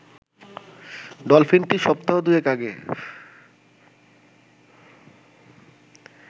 ডলফিনটি সপ্তাহ দুয়েক আগে